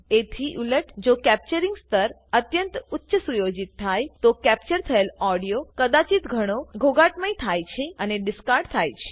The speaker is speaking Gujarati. એથી ઉલટ જો કેપ્ચરીંગ સ્તર અત્યંત ઉચ્ચ સુયોજિત થાયતો કેપ્ચર થયેલ ઓડીઓ કદાચિત ઘણો ઘોઘાટમયથાય છે અને ડીસકાર્ડ થાય છે